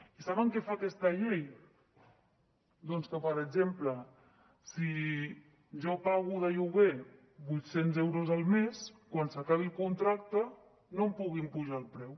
i saben què fa aquesta llei doncs que per exemple si jo pago de lloguer vuit cents euros al mes quan s’acabi el contracte no em puguin apujar el preu